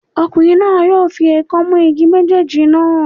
Ọkùnrin náà yóò fi èèkàn mú igi méjèèjì náà.